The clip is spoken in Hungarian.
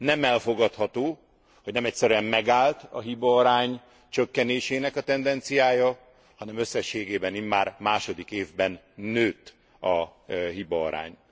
Nem elfogadható, hogy nem egyszerűen megállt a hibaarány csökkenésének a tendenciája, hanem összességében immár második évben nőtt a hibaarány.